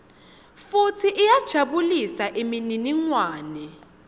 futsi iyajabulisa imininingwane